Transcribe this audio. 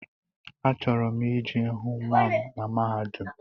Achọrọ m I je hụ nnwa m na mahadum.